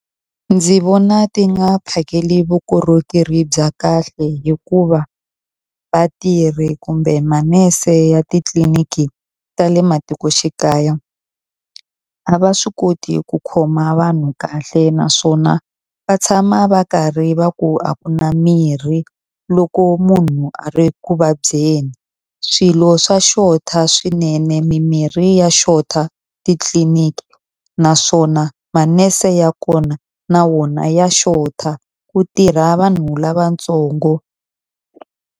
Ndzi vona ti nga phakeli vukorhokeri bya kahle hikuva, vatirhi kumbe manese ya titliliniki ta le matikoxikaya a va swi koti ku khoma vanhu kahle. Naswona va tshama va karhi va ku a ku na mirhi loko munhu a ri ku vabyeni. Swilo swa xota swinene, mimirhi ya xota titliniki naswona manese ya kona na wona ya xota. Ku tirha vanhu lavatsongo.